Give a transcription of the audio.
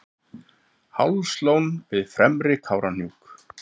hálslón við fremri kárahnjúk